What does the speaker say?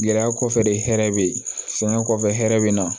Gɛlɛya kɔfɛ de hɛrɛ be yen sɛgɛn kɔfɛ hɛrɛ be na